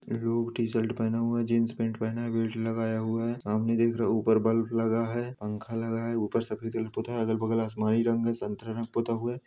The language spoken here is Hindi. ब्लू टी शर्ट पहना हुआ है। जींस पेंट पहना है बेल्ट लगाया हुआ है सामने देख रहा है ऊपर बल्ब लगा है पंखा लगा है ऊपर सफेद रंग पुता है अगल बगल आसमानी रंग संतरे रंग पुता हुआ हैं।